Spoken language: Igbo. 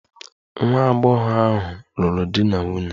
Nwa agbọghọ ahụ lụrụ di na nwunye.